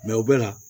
u bɛ na